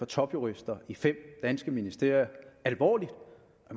topjurister i fem danske ministerier alvorligt